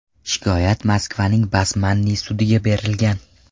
Shikoyat Moskvaning Basmanniy sudiga berilgan.